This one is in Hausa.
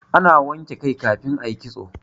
ana wanke kai kafin a yi kitso